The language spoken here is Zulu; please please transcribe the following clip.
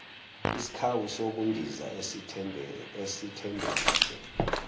isikhawu sokundiza esithembekile